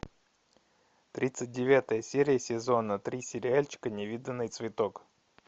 тридцать девятая серия сезона три сериальчика невиданный цветок